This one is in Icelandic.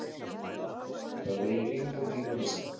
Það megi engan tíma missa.